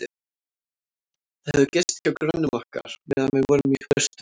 Þau höfðu gist hjá grönnum okkar, meðan við vorum í burtu.